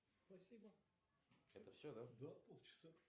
сбер установи будильник на семь утра